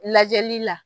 Lajɛli la